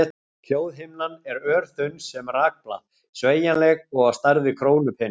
Hljóðhimnan er örþunn sem rakblað, sveigjanleg og á stærð við krónupening.